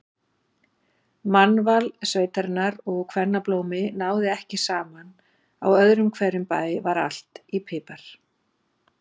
Mannval sveitarinnar og kvennablómi náði ekki saman, á öðrum hverjum bæ var allt í pipar.